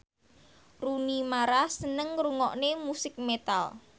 Rooney Mara seneng ngrungokne musik metal